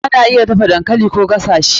Ana iya dafa dankali Koh gasa shi.